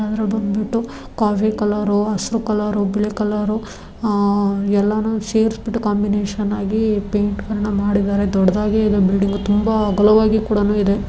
Coffee colour ಹಸಿರು colour black colour ಆಹ್ ಎಲ್ಲಾನೂ ಸೇರ್ಸಬಿಟ್ಟು ಕಾಂಬಿನೇಷನ್ ಆಗಿ ಈ ಪೈಂಟ್ಗಳನ್ನು ಮಾಡಿದ್ದಾರೆ ದೊಡ್ಡದಾಗೆ ಇದೆ ಬಿಲ್ಡಿಂಗು ತುಂಬಾ ಅಗಲವಾಗಿ ಕೂಡಾನೂ ಇದೆ.